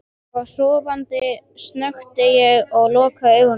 Ég var sofandi, snökti ég og loka augunum.